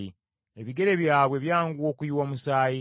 “Ebigere byabwe byanguwa okuyiwa omusaayi,